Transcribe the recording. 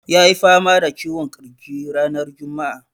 Ya yi fama da ciwon ƙirji ranar juma'a.